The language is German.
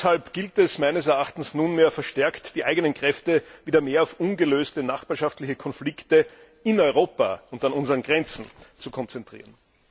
Und deshalb gilt es meines Erachtens, nunmehr die eigenen Kräfte wieder mehr auf ungelöste nachbarschaftliche Konflikte in Europa und an unseren Grenzen zu konzentrieren.